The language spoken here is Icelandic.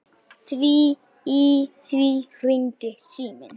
Í því hringdi síminn.